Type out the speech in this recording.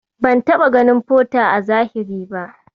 Ban taɓa ganin Porter a zahiri ba.